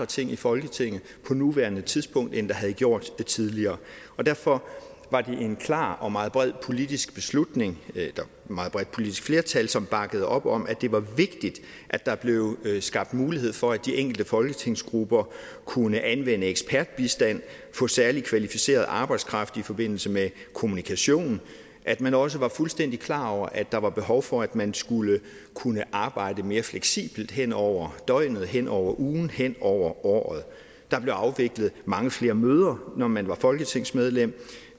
ting i folketinget på nuværende tidspunkt end der havde gjort tidligere derfor var det en klar og meget bred politisk beslutning med et meget bredt politisk flertal som bakkede op om at det var vigtigt at der blev skabt mulighed for at de enkelte folketingsgrupper kunne anvende ekspertbistand og få særlig kvalificeret arbejdskraft i forbindelse med kommunikation at man også var fuldstændig klar over at der var behov for at man skulle kunne arbejde mere fleksibelt hen over døgnet hen over ugen hen over året der blev afviklet mange flere møder når man var folketingsmedlem